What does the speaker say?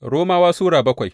Romawa Sura bakwai